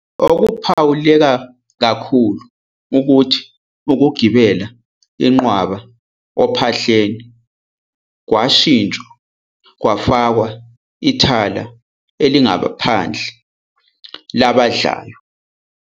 Okuphawuleka kakhulu ukuthi ukugibela inqwaba ophahleni kwashintshwa kwafakwa ithala elingaphandle labadlayo.